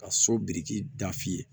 Ka so biriki da f'i ye